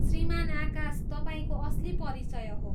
श्रीमान आकाश तपाईँको असली परिचय हो।